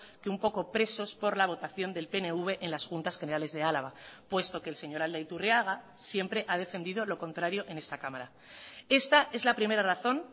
que un poco presos por la votación del pnv en las juntas generales de álava puesto que el señor aldaiturriaga siempre ha defendido lo contrario en esta cámara esta es la primera razón